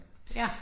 Ja